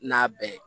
N'a bɛɛ ye